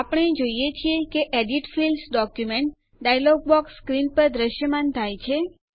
આપણે જોઈએ છીએ કે edit Fields document dialog box screen પર દ્રશ્યમાન થાય છે